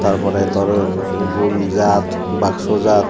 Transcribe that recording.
tar pore tor gul jaat box jaat.